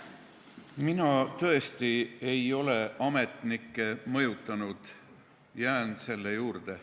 Mina tõesti ei ole ametnikke mõjutanud, jään selle juurde.